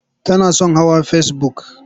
Tana son hawa fesibuk.